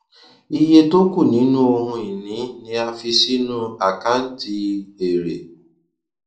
iye tó kù nínú ohunìní ni a fi sínú àkàǹtì èrè